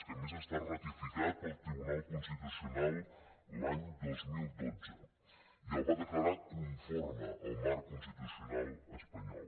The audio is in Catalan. que a més està ratificat pel tribunal constitucional l’any dos mil dotze i el va declarar conforme el marc constitucional espanyol